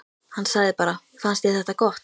Hann sagði bara: Fannst þér þetta gott?